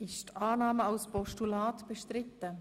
Ist die Annahme als Postulat bestritten?